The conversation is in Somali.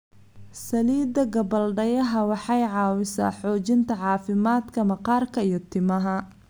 Saliidda gabbaldayaha waxay caawisaa xoojinta caafimaadka maqaarka iyo timaha.